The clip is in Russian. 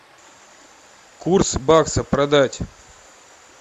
курс бакса продать